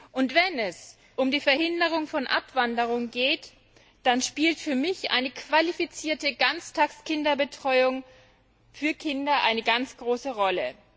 Und wenn es um die Verhinderung von Abwanderung geht, dann spielt für mich eine qualifizierte Ganztagsbetreuung für Kinder eine ganz große Rolle.